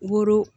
Woro